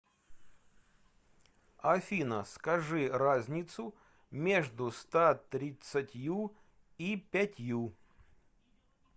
афина скажи разницу между ста тридцатью и пятью